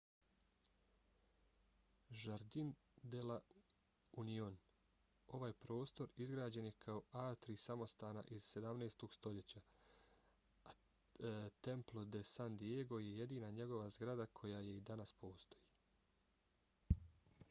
jardín de la unión. ovaj prostor izgrađen je kao atrij samostana iz 17. stoljeća a templo de san diego je jedina njegova zgrada koja i danas postoji